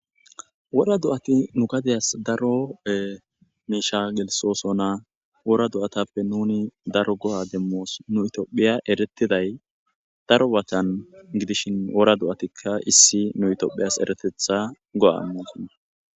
wora do'ati nu gadiyas daro miisha gelisossona worra do'atappe nuni darro go'a demos nu itioophiya eretiday daro baggan gidishshin worra do'attikka issi nu ityophohiyas eratteththa go7a imossona